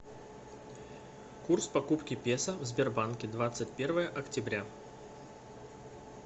курс покупки песо в сбербанке двадцать первое октября